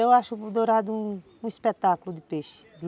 Eu acho o dourado um espetáculo de peixe.